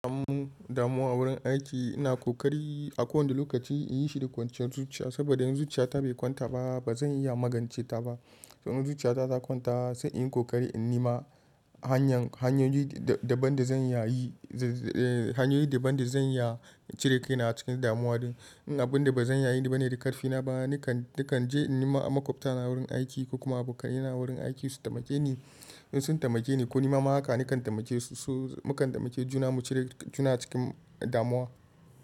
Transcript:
A mu damuwa wurin aiki, ina ƙoƙari a kowane lokaci in yi shi da kwanciyar zuciya saboda in zuciyata bai kwanta ba, ba zan iya magance ta ba. To in zuciyata ta kwanta sai in yi kokari in nima hanyan hanyoyi daban da hanyoyin daban da zan iya cire kaina a cikin damuwa din. In abun da ba zan iya yi bane da ƙarfi na ba, nakan je in nima makwabta na wurin aiki ko kuma abokanena a wurin aiki su taimake ni. In sun taimake ni ko nima haka nakan taimake su. Mukan taimake juna mu cire juna a cikin damuwa.